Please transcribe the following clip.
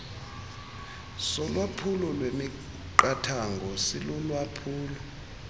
solwaphulo lwemiqathango silulwaphulo